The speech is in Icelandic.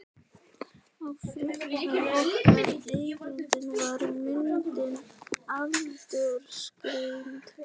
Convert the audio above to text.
Sigríður: Veist þú hvað verðtrygging er?